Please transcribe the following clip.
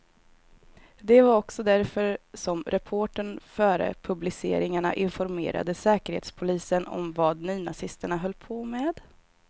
Det var också därför som reportern före publiceringarna informerade säkerhetspolisen om vad nynazisterna höll på med.